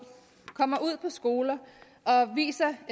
kommer ud på skoler og viser